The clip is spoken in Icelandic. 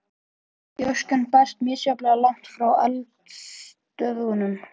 Gjóskan berst misjafnlega langt frá eldstöðvunum.